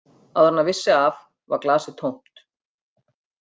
Áður en hann vissi af var glasið tómt.